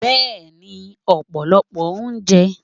bẹẹni, opolopo ounje.